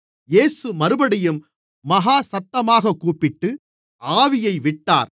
இயேசு மறுபடியும் மகா சத்தமாகக் கூப்பிட்டு ஆவியை விட்டார்